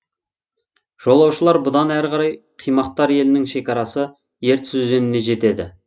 жолаушылар бұдан әрі қарай қимақтар елінің шекарасы ертіс өзеніне жетеді